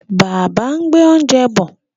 Bàbá ń gbé oúnjẹ bọ̀.